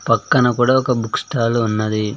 పక్కన కూడా ఒక బుక్ స్టాల్ ఉన్నది.